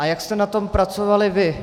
A jak jste na tom pracovali vy?